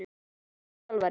Besti þjálfarinn?